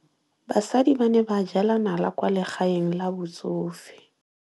Basadi ba ne ba jela nala kwaa legaeng la batsofe.